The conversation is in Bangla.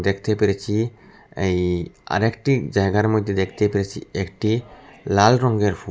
দেকতে পেরেছি এই আরেকটি জায়গায় মধ্যে দেকতে পেরেছি একটি লাল রংগের ফুল।